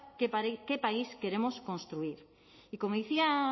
qué país queremos construir y como decía